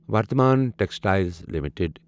Vardhman textiles limited